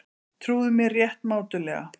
Trúðu mér rétt mátulega.